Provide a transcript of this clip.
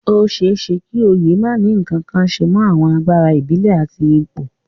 Ó ṣeé ṣe kí oyè má ní ǹkankan ṣe mọ àwọn agbára ìbílẹ̀ àti ipò